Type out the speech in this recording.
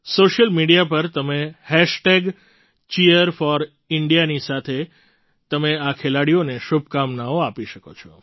social media પર તમે Cheer4Indiaની સાથે તમે આ ખેલાડીઓને શુભકામનાઓ આપી શકો છો